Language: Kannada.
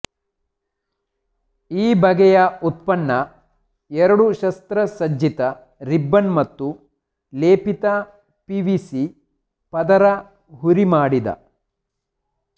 ಈ ಬಗೆಯ ಉತ್ಪನ್ನ ಎರಡು ಶಸ್ತ್ರಸಜ್ಜಿತ ರಿಬ್ಬನ್ ಮತ್ತು ಲೇಪಿತ ಪಿವಿಸಿ ಪದರ ಹುರಿಮಾಡಿದ